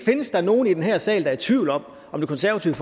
findes der nogen i den her sal der er i tvivl om om det konservative